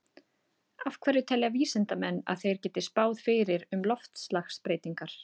Af hverju telja vísindamenn að þeir geti spáð fyrir um loftslagsbreytingar?